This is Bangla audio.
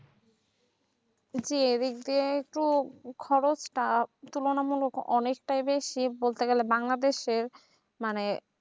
জি এদিক দিয়ে একটু খরচটা তুলনা মূলক অনেক টাই বেশি বলতে গেলে বাংলাদেশের মানে